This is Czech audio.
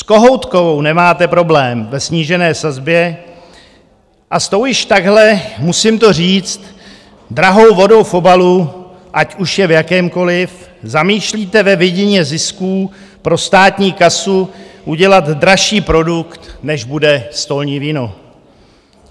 S kohoutkovou nemáte problém ve snížené sazbě a s tou již takhle, musím to říct, drahou vodou v obalu, ať už je v jakémkoliv, zamýšlíte ve vidině zisků pro státní kasu udělat dražší produkt, než bude stolní víno?